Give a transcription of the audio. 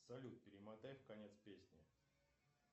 салют перемотай в конец песни